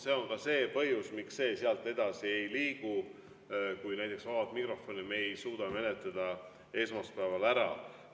" See on põhjus, miks see sealt edasi ei liigu, kui me vaba mikrofoni ei suuda esmaspäeval ära menetleda.